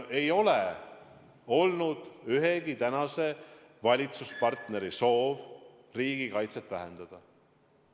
Ei ole olnud ühegi tänase valitsuspartneri soov riigikaitset vähendada.